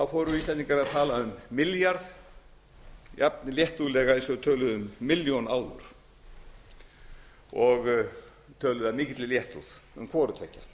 fóru íslendingar að tala um milljarð jafn léttúðlega eins og þeir töluðu um milljón áður og töluðu af mikilli léttúð um hvoru